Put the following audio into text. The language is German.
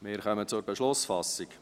Wir kommen zur Beschlussfassung.